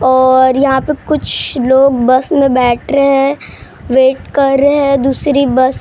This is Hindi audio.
और यहाँ पे कुछ लोग बस में बैठ रहे हैं वेट कर रहे हैं दूसरी बस --